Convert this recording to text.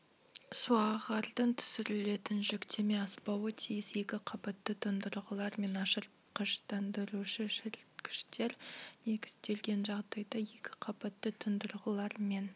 суағардың түсірілетін жүктеме аспауы тиіс екі қабатты тұндырғылар мен ашықтандырушы-шіріткіштер негізделген жағдайда екі қабатты тұндырғылар мен